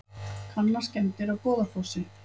Kanna skemmdir á Goðafossi